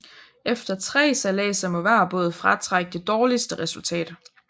Efter tre sejladser må hver båd fratrække det dårligste resultat